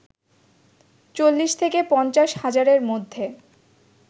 ৪০ থেকে ৫০ হাজারের মধ্য